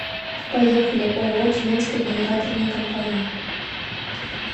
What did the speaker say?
поехали ооо тюменская генераторная компания